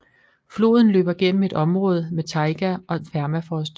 Floden løber gennem et område med taiga og permafrost